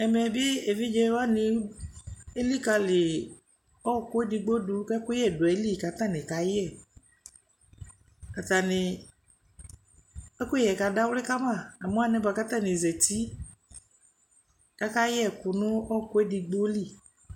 Ɛmɛ bɩ evidze wanɩ elikǝli ɔɣɔkʋ edigbo dʋ kʋ ɛkʋyɛ dʋ ayili kʋ atanɩ kayɛ Atanɩ ɛkʋyɛ yɛ kadawlɩ ka ma Amʋ alɛna yɛ atanɩ zati kʋ akayɛ ɛkʋ nʋ ɔɣɔkʋ edigbo li